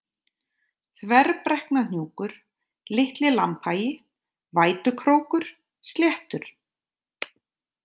Þverbrekknahnjúkur, Litli-Lambhagi, Vætukrókur, Sléttur